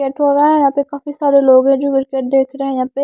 set हो रहा है यहां पे काफी सारे लोग जो क्रिकेट देख रहे हैं यहां पे--